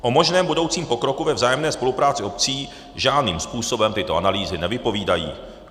O možném budoucím pokroku ve vzájemné spolupráci obcí žádným způsobem tyto analýzy nevypovídají."